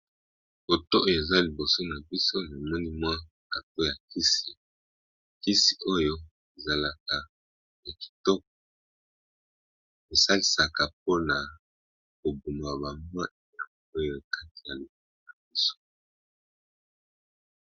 Photo oyo eza liboso nabiso eza carton ya kisi, kisi oyo ezalaka ya kitoko esalisa po na koboma ba nyoka na kati ya libumu.